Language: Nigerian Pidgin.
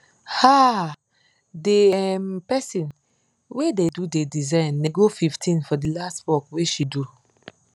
um d um person wey da do d design nego 15 for the last work wey she do